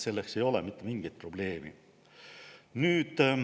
Selles ei ole mitte mingit probleemi.